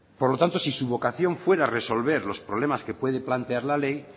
por lo tanto si su vocación fuera resolver los problemas que pueden plantear la ley